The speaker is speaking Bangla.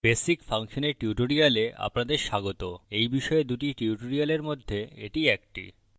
basic ফাংশনের tutorial আপনাদের স্বাগত এই বিষয়ে দুটি tutorial মধ্যে এটি একটি